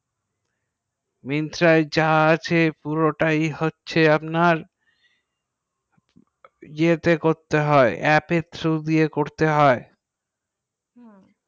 Myntra যা আছে পুরো টা হচ্ছে আপনার এ তে করতে হয় এপ এর thru দিয়ে করতে হয়